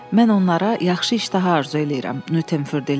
Mən onlara yaxşı iştaha arzu eləyirəm, Nüttenfur dilləndi.